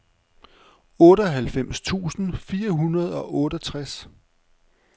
otteoghalvfems tusind fire hundrede og otteogtres